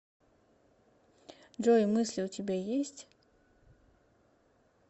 джой мысли у тебя есть